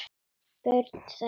Börn þeirra.